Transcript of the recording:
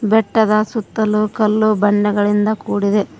ಬೆಟ್ಟದ ಸುತ್ತಲು ಕಲ್ಲು ಬಂಡೆಗಳಿಂದ ಕೂಡಿದೆ.